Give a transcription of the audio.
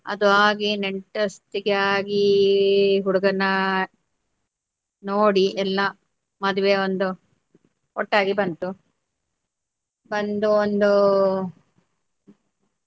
ಅದು ಆಗಿ ನೆಂಟಸ್ತಿಕೆ ಆಗಿ ಹುಡಗನ್ನ ನೋಡಿ ಎಲ್ಲಾ ಮದ್ವೆ ಒಂದು ಒಟ್ಟಾಗಿ ಬಂತು ಬಂದು ಒಂದು.